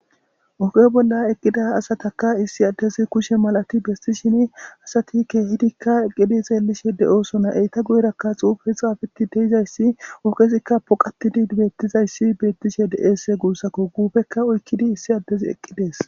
Oge bolla eqida asataka issi adezi kushe matidibe sishin asatika esigedi xelishe de7osona asata guyeraka xupe xapetididizas ogezikaa boqatidi betizayis betishe de7es gusako gupeka oyikidi issi adezi eqides